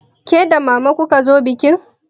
Ke da mama kuka zo bikin?